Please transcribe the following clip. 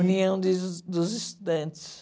União dos Es dos Estudantes.